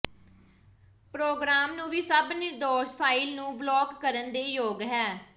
programme ਨੂੰ ਵੀ ਸਭ ਨਿਰਦੋਸ਼ ਫਾਇਲ ਨੂੰ ਬਲਾਕ ਕਰਨ ਦੇ ਯੋਗ ਹੈ